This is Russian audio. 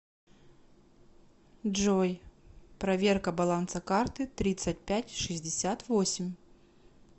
джой проверка баланса карты тридцать пять шестьдесят восемь